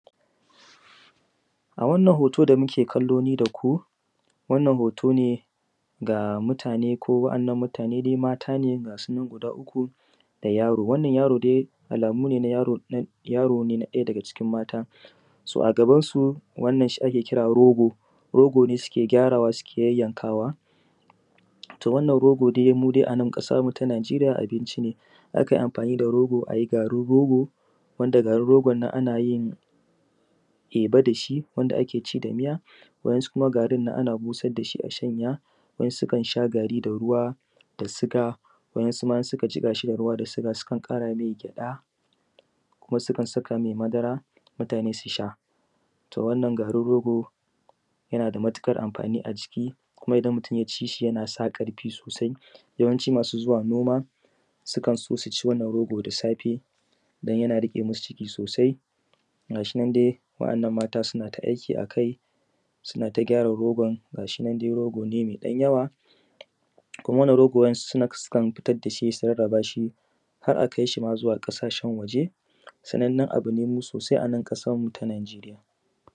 A wannan hooto da muke kallo ni da ku, wannan hooto ne ga mutaane, ko waɗannan mutaane maata ne ga su nan guda uku da yaro. Wannan yaro dai alamu ne na yaro na yaro ne na ɗaya daga cikin maata, so a gabansu wannan shi ake kira rogo, rogo ne suke gyarawa suke yayyankaawa. To wannan rogo dai mu dai a nan ƙasan mu ta Najeriya abinci ne, akan yi amfaani da rogo ayi garin rogo, wanda garin rogon nan ana yin teba da shi wanda ake ci da miya. kuma garin ana busar da shi a shanya, wasu sukan sha gari da ruwa da suga, wasu ma sukan jiƙa shi da ruwa da suga sukan ƙara mai gyaɗa, kuma sukan sakaa mai madara su sha. To wannan garin rogo yana da matuƙar amfaani a jiki, kuma idan mutum ya ci shi yana sa ƙarfii soosai, yawanci masu zuwa noma sukan so su ci wannan rogo da safe don yana riƙe masu ciki soosai. Ga shi nan dai waɗannan maata suna ta aiki a kai suna ta gyara rogo ga shi nan dai rogo ne mai ɗan yawa, kuma wannan rogon wasu sukan fitar da shi su rarrabaa shi har a kai shi ma zuwa ƙasashen wajen, sanannan abu ne mu soosai a nan ƙasan mu ta Najeriya.